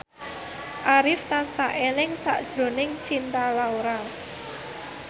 Arif tansah eling sakjroning Cinta Laura